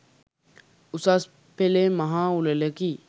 උසස් පෙළේ මහා උළෙලකි.